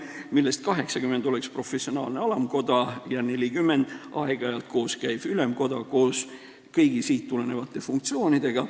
80 liiget kuuluksid professionaalsesse alamkotta ja 40 kuuluksid aeg-ajalt koos käivasse ülemkotta koos kõigi siit tulenevate funktsioonidega.